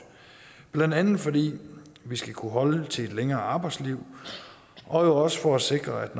blandt andet fordi vi skal kunne holde til et længere arbejdsliv og også for at sikre at